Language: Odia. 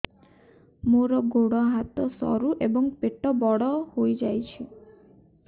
ମୋର ଗୋଡ ହାତ ସରୁ ଏବଂ ପେଟ ବଡ଼ ହୋଇଯାଇଛି